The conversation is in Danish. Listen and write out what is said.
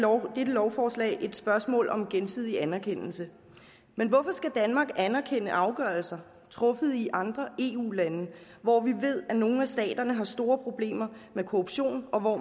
lovforslag et spørgsmål om gensidig anerkendelse men hvorfor skal danmark anerkende afgørelser der truffet i andre eu lande hvor vi ved at nogle stater har store problemer med korruption og hvor